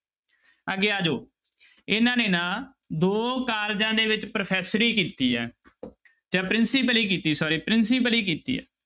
ਅੱਗੇ ਆ ਜਾਓ ਇਹਨਾਂ ਨੇ ਨਾ ਦੋ ਕਾਲਜਾਂ ਦੇ ਵਿੱਚ ਪ੍ਰੋਫੈਸਰੀ ਕੀਤੀ ਹੈ ਜਾਂ ਪ੍ਰਿੰਸੀਪਲੀ ਕੀਤੀ sorry ਪ੍ਰਿੰਸੀਪਲੀ ਕੀਤੀ ਹੈ।